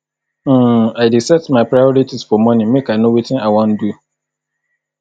um i dey set my priorities for morning make i know wetin i wan do